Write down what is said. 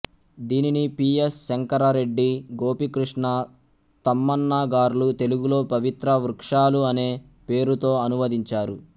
దీనిని P S Shankar Reddy Gopikrishna Tammanna గార్లు తెలుగులో పవిత్ర వృక్షాలు అనే పేరుతో అనువదించారు